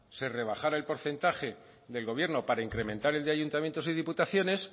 se rebajara el porcentaje del gobierno para incrementar el de ayuntamientos y diputaciones